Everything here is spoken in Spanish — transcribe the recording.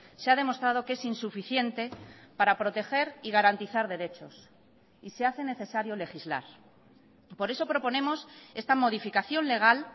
se ha demostrado que es insuficiente para proteger y garantizar derechos y se hace necesario legislar por eso proponemos esta modificación legal